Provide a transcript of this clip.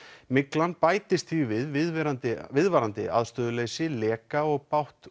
myglan bætist því við viðvarandi viðvarandi aðstöðuleysi leka og bágt